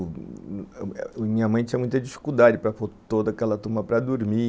Minha mãe tinha muita dificuldade para toda aquela turma para dormir,